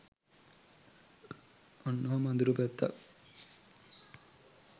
ඔන්න ඔහොම අඳුරු පැත්තක්